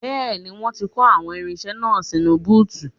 Bẹ́ẹ̀ni, wọ́n ti kó àwọn irinṣẹ́ náà sínú búùtù